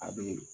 A be